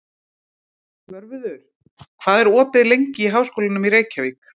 Svörfuður, hvað er opið lengi í Háskólanum í Reykjavík?